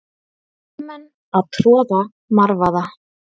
Hermenn að troða marvaða.